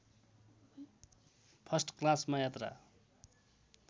first क्लासमा यात्रा